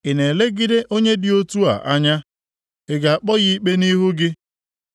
Ị na-elegide onye dị otu a anya? Ị ga-akpọ ya ikpe nʼihu gị?